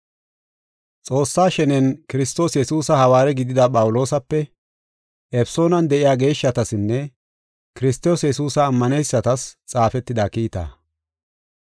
Xoossaa shenen Kiristoos Yesuusa hawaare gidida Phawuloosape, Efesoonan de7iya geeshshatasinne Kiristoos Yesuusa ammaneysatas xaafetida kiitaa.